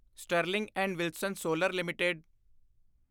Sterling and Wilson solar LTD